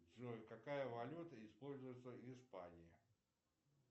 джой какая валюта используется в испании